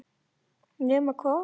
Nema hvað!